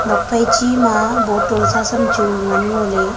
nokphai chi ma bottle sa sam chu ngan ngoley.